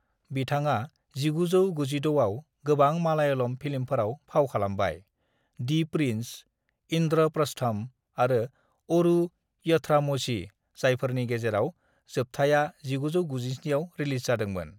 "बिथाङा 1996 आव गोबां मालायालम फिल्मफोराव फाव खालामबाय: दि प्रिन्स, इन्द्रप्रस्थम आरो ओरू यथ्रामोझी, जायफोरनि गेजेराव जोबथाया 1997 आव रिलिज जादोंमोन।"